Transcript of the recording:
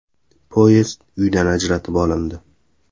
Poyezd uydan ajratib olindi.